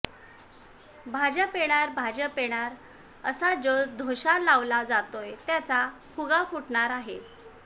भाजप येणार भाजप येणार असा जो धोशा लावला जातोय त्याचा फुगा फुटणार आहे